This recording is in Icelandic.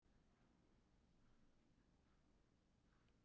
Úr maga fer fæðan ofan í skeifugörn sem er efsti hluti smáþarma.